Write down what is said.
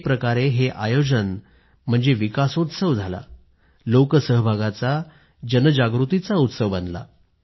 एक प्रकारे हे आयोजन म्हणजे विकासोत्सव झाला लोकसहभागाचा जनजागृतीचा उत्सव बनला